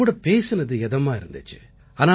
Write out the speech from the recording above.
உங்ககூட பேசினது இதமா இருந்திச்சு